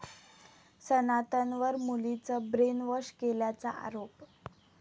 सनातनवर मुलीचं ब्रेनवॉश केल्याचा आरोप